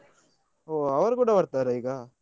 ಓ ಅವರು ಕೂಡ ಬರ್ತಾರಾ ಈಗ?